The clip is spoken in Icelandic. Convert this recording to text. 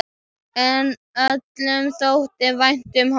En öllum þótti vænt um hann.